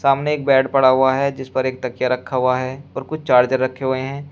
सामने एक बेड पड़ा हुआ है जिस पर एक तकिया रखा हुआ है और कुछ चार्जर रखे हुए हैं।